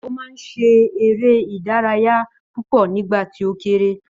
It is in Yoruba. Ó máa ń ṣe eré ìdárayá púpọ̀ nígbà tì ó kéré